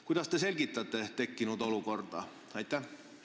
Kuidas te tekkinud olukorda selgitate?